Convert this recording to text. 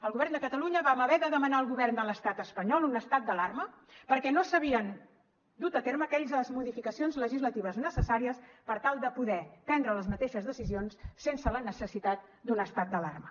el govern de catalunya vam haver de demanar al govern de l’estat espanyol un estat d’alarma perquè no s’havien dut a terme aquelles modificacions legislatives necessàries per tal de poder prendre les mateixes decisions sense la necessitat d’un estat d’alarma